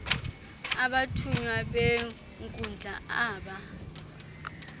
abathunywa benkundla aba